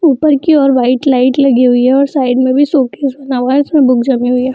ऊपर की ओर व्हाइट लाइट लगी हुई है और साइड में भी इसमें बुक जमी हुई है।